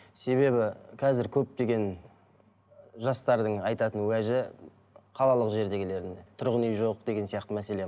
себебі қазір көптеген жастардың айтатын уәжі қалалық жердегілеріне тұрғын үй жоқ деген сияқты мәселе